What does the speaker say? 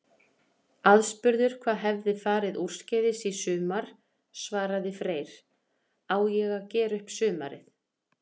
Aðspurður hvað hefði farið úrskeiðis í sumar svaraði Freyr: Á ég að gera upp sumarið?